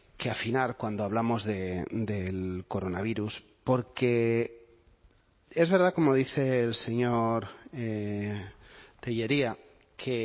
que afinar cuando hablamos del coronavirus porque es verdad como dice el señor tellería que